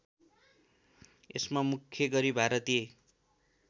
यसमा मुख्य गरी भारतीय